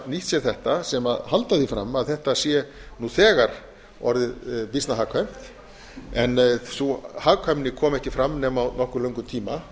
nýtt sér þetta sem halda því fram að þetta sé nú þegar orðið býsna hagkvæmt en sú hagkvæmni komi ekki fram nema á nokkuð löngum tíma